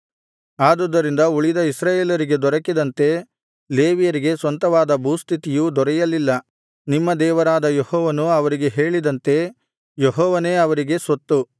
ಆದುದರಿಂದ ಉಳಿದ ಇಸ್ರಾಯೇಲರಿಗೆ ದೊರಕಿದಂತೆ ಲೇವಿಯರಿಗೆ ಸ್ವಂತವಾದ ಭೂಸ್ಥಿತಿಯು ದೊರೆಯಲಿಲ್ಲ ನಿಮ್ಮ ದೇವರಾದ ಯೆಹೋವನು ಅವರಿಗೆ ಹೇಳಿದಂತೆ ಯೆಹೋವನೇ ಅವರಿಗೆ ಸ್ವತ್ತು